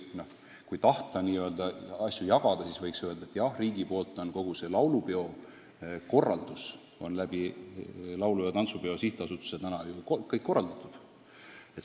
Samas, kui tahta n-ö kohustusi jagada, siis võiks öelda, et riigi poolt on kogu laulupeo korraldus Eesti Laulu- ja Tantsupeo Sihtasutuse kaudu ju garanteeritud.